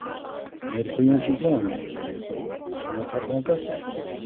Eiríkur Jónsson, blaðamaður: Eigum við að fara þangað?